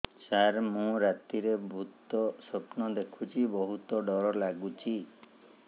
ସାର ମୁ ରାତିରେ ଭୁତ ସ୍ୱପ୍ନ ଦେଖୁଚି ବହୁତ ଡର ଲାଗୁଚି